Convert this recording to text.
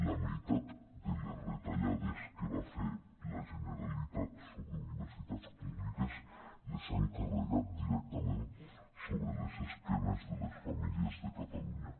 la meitat de les retallades que va fer la generalitat sobre universitats públiques les han carregat directament sobre les esquenes de les famí·lies de catalunya